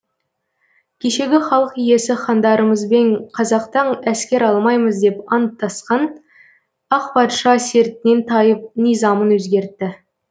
кешегі халық иесі хандарымызбен қазақтан әскер алмаймыз деп анттасқан ақ патша сертінен тайып низамын өзгертті